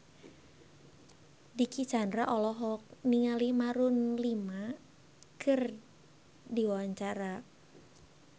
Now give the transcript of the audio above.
Dicky Chandra olohok ningali Maroon 5 keur diwawancara